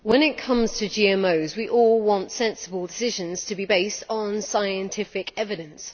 Madam President, when it comes to GMOs, we all want sensible decisions to be based on scientific evidence.